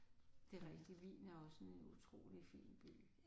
Det er rigtigt Wien er også en utrolig fin by